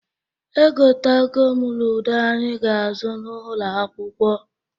Egotago m ludo anyị ga-azụ n'ụnọ akwụkwọ.